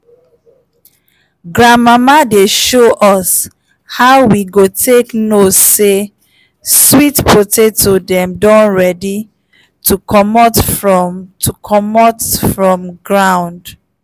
grandmama dey show us how we go take know say sweet potato dem don ready to comot from to comot from ground.